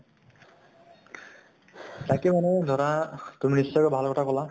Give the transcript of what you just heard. তাকে মানে ধৰা, তুমি নিশ্চয়্কৈ ভাল কথা কʼলা